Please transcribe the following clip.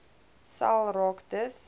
sel raak dus